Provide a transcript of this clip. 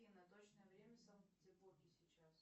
афина точное время в санкт петербурге сейчас